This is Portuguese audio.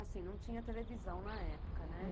Assim, não tinha televisão na época, né?